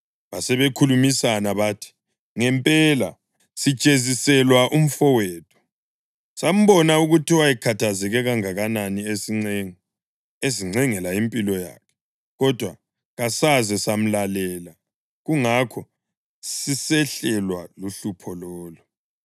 Basebekhulumisana bathi, “Ngempela sijeziselwa umfowethu. Sambona ukuthi wayekhathazeke kangakanani esincenga, ezincengela impilo yakhe, kodwa kasaze samlalela; kungakho sisehlelwa luhlupho lolu.”